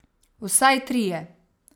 Vsaj trije.